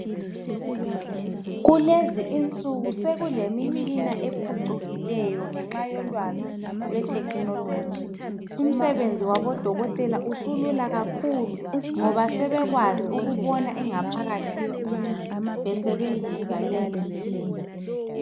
Kulezi insuku sekulemitshina ephucukileyo ngenxa yolwazi lethekhinoloji. Umsebenzi wabodokotela usulula kakhulu ngoba sebekwazi ukubona ingaphakathi yomuntu besebenzisa leyi mitshina.